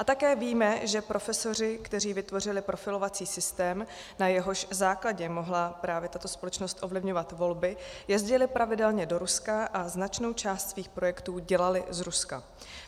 A také víme, že profesoři, kteří vytvořili profilovací systém, na jehož základě mohla právě tato společnost ovlivňovat volby, jezdili pravidelně do Ruska a značnou část svých projektů dělali z Ruska.